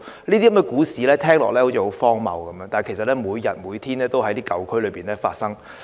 這些故事聽起來好像很荒謬，但其實每天也在舊區發生。